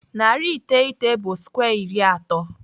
Narị iteghete bụ skwe iri atọ.